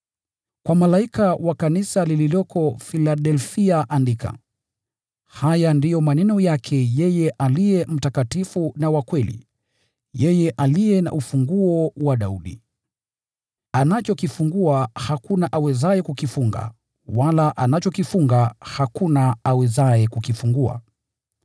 “Kwa malaika wa kanisa lililoko Filadelfia andika: “Haya ndiyo maneno yake yeye aliye mtakatifu na wa kweli, yeye aliye na ufunguo wa Daudi. Anachokifungua hakuna awezaye kukifunga, wala anachokifunga hakuna awezaye kukifungua.